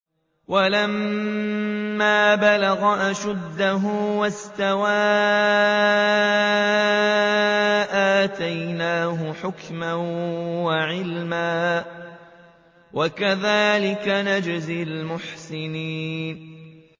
وَلَمَّا بَلَغَ أَشُدَّهُ وَاسْتَوَىٰ آتَيْنَاهُ حُكْمًا وَعِلْمًا ۚ وَكَذَٰلِكَ نَجْزِي الْمُحْسِنِينَ